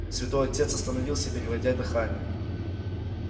святой отец остановился переводя дыхание